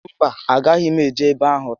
Mba, a gaghị m eje ébé áhụ̀ taa